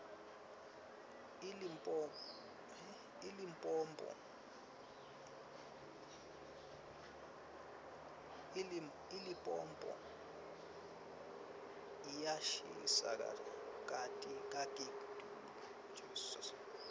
ilipompo yiyashisa kakitulu